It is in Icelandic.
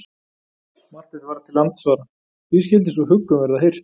Marteinn varð til andsvara: Því skyldi sú huggun verða hirt?